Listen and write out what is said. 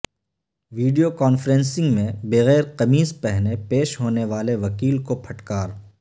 video conferencing میں بغیر قمیض پہنے پیش ہونے والے وکیل کو پھٹکار